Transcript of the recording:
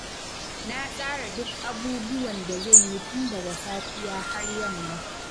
Na tsara duk abubuwan da zan yi tun daga safiya har yamma.